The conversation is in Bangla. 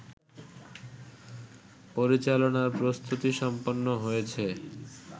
পরিচালনার প্রস্তুতি সম্পন্ন হয়েছে